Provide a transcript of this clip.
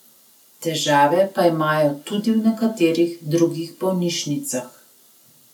Težave pa imajo tudi v nekaterih drugih bolnišnicah.